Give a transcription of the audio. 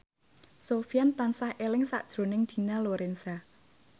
Sofyan tansah eling sakjroning Dina Lorenza